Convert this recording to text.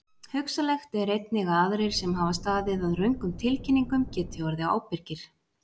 Hugsanlegt er einnig að aðrir sem hafa staðið að röngum tilkynningum geti orðið ábyrgir.